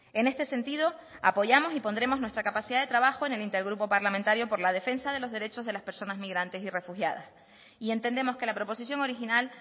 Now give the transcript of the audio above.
en este sentido apoyamos y pondremos nuestra capacidad de trabajo en el intergrupo parlamentario por la defensa de los derechos de las personas migrantes y refugiadas y entendemos que la proposición original